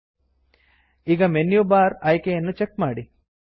ಈಗ menu bar menu bar ಆಯ್ಕೆಯನ್ನು check ಮಾಡಿ